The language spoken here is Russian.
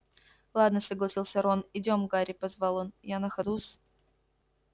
ладно согласился рон идём гарри позвал он я на ходу с